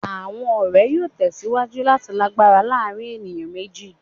Awọn ọrẹ yoo tẹsiwaju lati lagbara laarin eniyan meji